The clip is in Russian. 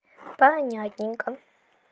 понятненько